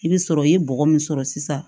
I bɛ sɔrɔ i ye bɔgɔ min sɔrɔ sisan